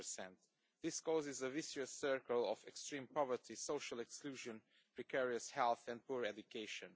20. This causes a vicious circle of extreme poverty, social exclusion, precarious health and poor education.